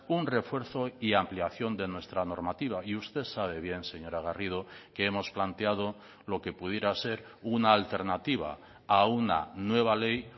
un refuerzo y ampliación de nuestra normativa y usted sabe bien señora garrido que hemos planteado lo que pudiera ser una alternativa a una nueva ley